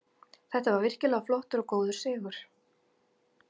Þetta var virkilega flottur og góður sigur.